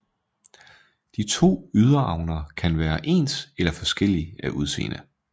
De to yderavner kan være ens eller forskellige af udseende